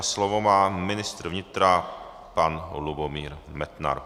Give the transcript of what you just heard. A slovo má ministr vnitra pan Lubomír Metnar.